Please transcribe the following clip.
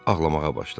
Ağlamağa başladı.